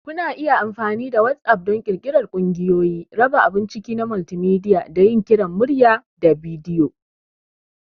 Kuna iya amfani da WhatApp don ƙirƙirar ƙungiyoyi, raba abun ciki na multimedia, da yin kiran murya/bidiyo.